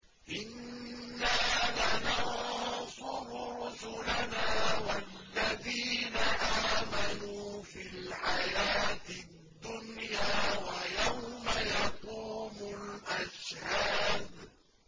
إِنَّا لَنَنصُرُ رُسُلَنَا وَالَّذِينَ آمَنُوا فِي الْحَيَاةِ الدُّنْيَا وَيَوْمَ يَقُومُ الْأَشْهَادُ